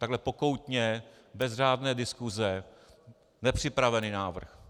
Takhle pokoutně, bez řádné diskuse, nepřipravený návrh.